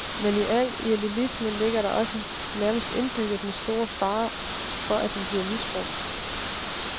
Men i al idealisme ligger der også, nærmest indbygget, den store fare for at den bliver misbrugt.